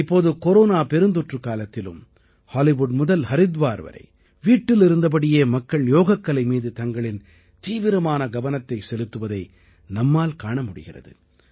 இப்போது கொரோனா பெருந்தொற்றுக் காலத்திலும் ஹாலிவுட் முதல் ஹரித்வார் வரை வீட்டிலிருந்தபடியே மக்கள் யோகக்கலை மீது தங்களின் தீவிரமான கவனத்தை செலுத்துவதை நம்மால் காண முடிகிறது